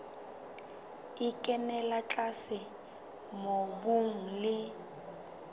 e kenella tlase mobung le